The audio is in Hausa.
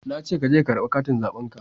Na ce ka je ka karba katin zaben ka